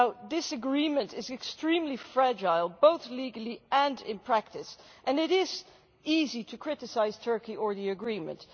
This agreement is extremely fragile, both legally and in practice, and it is easy to criticise Turkey or the agreement.